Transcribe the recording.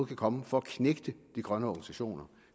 kan komme for at knægte de grønne organisationer